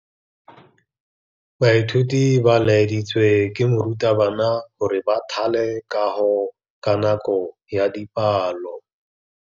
Baithuti ba laeditswe ke morutabana gore ba thale kagô ka nako ya dipalô.